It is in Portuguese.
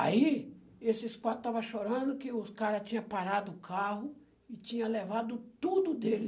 Aí, esses quatro estavam chorando que o cara tinha parado o carro e tinha levado tudo dele.